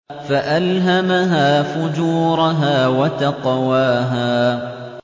فَأَلْهَمَهَا فُجُورَهَا وَتَقْوَاهَا